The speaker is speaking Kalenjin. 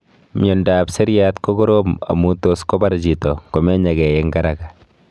Mnyondo ap seriat ko korom amu tos kopar chito ngomenyakei kwa haraka